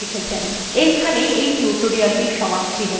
এইখানেই এই টির সমাপ্তি হল